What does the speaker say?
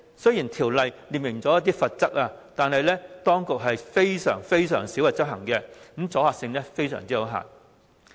雖然《條例》有列明罰則，但當局卻極少執法，阻嚇性也極為有限。